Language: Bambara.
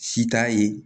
Si t'a ye